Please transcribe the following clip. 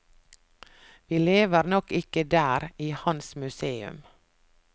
Vi lever nok ikke der, i hans museum.